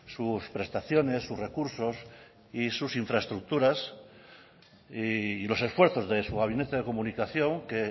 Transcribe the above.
sus prestaciones sus recursos y sus infraestructuras y los esfuerzos de su gabinete de comunicación que